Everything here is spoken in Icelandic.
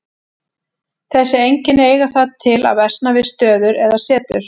Þessi einkenni eiga það til að versna við stöður eða setur.